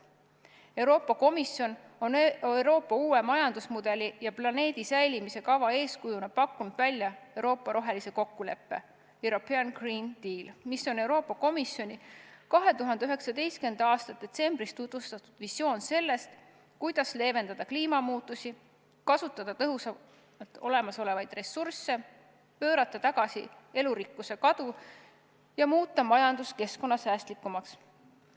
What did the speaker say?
Euroopa Komisjon on Euroopa uue majandusmudeli ja planeedi säilimise kava eeskujuna pakkunud välja Euroopa rohelise kokkuleppe "European Green Deal", mis on Euroopa Komisjoni 2019. aasta detsembris tutvustatud visioon sellest, kuidas leevendada kliimamuutusi, kasutada tõhusamalt olemasolevaid ressursse, pöörata tagasi elurikkuse kadu ja muuta majandus keskkonnasäästlikumaks.